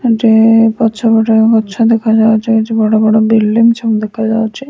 ଯେ ପଛପଟ ଗଛ ଦେଖାଯାଉଚି କିଛି ବଡ ବିଲଡିଂ ସବୁ ଦେଖାଯାଉଚି।